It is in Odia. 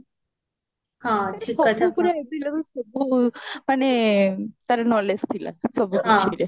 ସବୁ ପୁରା ସବୁ ମାନେ knowledge ଥିଲା ସବୁ କିଛିରେ